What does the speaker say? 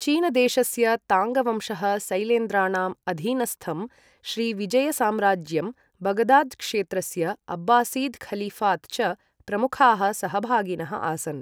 चीनदेशस्य ताङ्गवंशः, सैलेन्द्राणां अधीनस्थं श्रीविजयसाम्राज्यं, बगदाद् क्षेत्रस्य अब्बासीद् ख़लीफ़ात् च प्रमुखाः सहभागिनः आसन्।